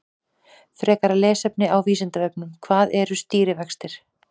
Frekara lesefni á Vísindavefnum: Hvað eru stýrivextir?